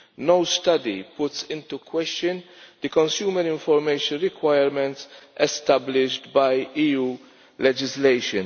No study puts into question the consumer information requirements established by EU legislation.